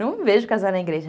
Não me vejo casar na igreja.